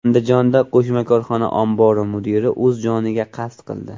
Andijonda qo‘shma korxona ombori mudiri o‘z joniga qasd qildi.